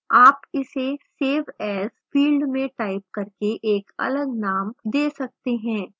आप इसे save as field में टाइप करके एक अलग name दे सकते हैं